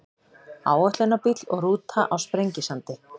Áætlunarbíll og rúta á Sprengisandi.